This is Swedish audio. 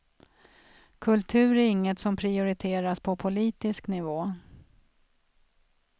Kultur är inget som prioriteras på politisk nivå.